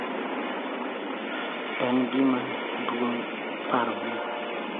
En gima duong� paro ni .